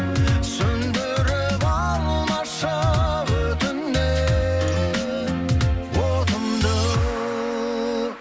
сөнідіріп алмашы өтінемін отымды